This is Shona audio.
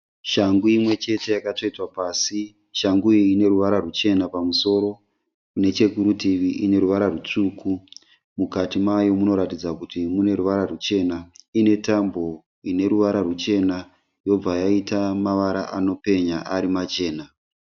Shangu imwe chete yakatsvetwa pasi, shangu iyi ine ruvara ruchena pamusoro nechekurutivi ine ruvara rutsvuku mukati mayo munoratidza kuti mune ruvara ruchena ine tambo ine ruvara ruchena yobva yaita mavara anopenya ari machena.